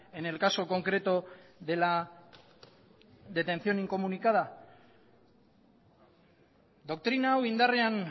en el caso concreto de la detención incomunicada doktrina hau indarrean